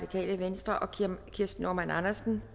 kirsten normann andersen